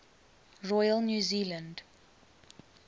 royal new zealand